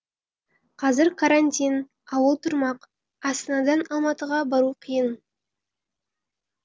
қазір карантин ауыл тұрмақ астанадан алматыға бару қиын